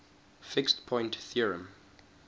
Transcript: fixed point theorem